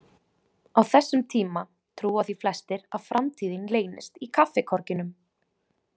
Á þessum tíma trúa því flestir að framtíðin leynist í kaffikorginum.